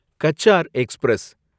Cachar express